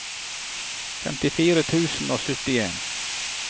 femtifire tusen og syttien